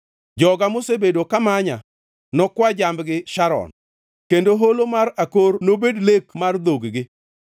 Joga mosebedo ka manya nokwa jambgi Sharon kendo Holo mar Akor nobed lek mar dhog-gi.